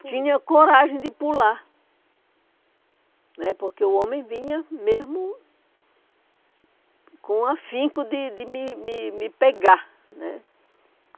tinha coragem de pular né, porque o homem vinha mesmo com afinco de de me me me pegar né.